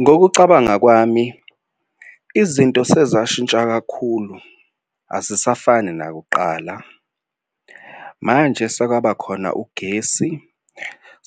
Ngokucabanga kwami, izinto sezashintsha kakhulu azisafani nakuqala. Manje sekwaba khona ugesi